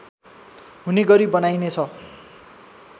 हुने गरी बनाइनेछ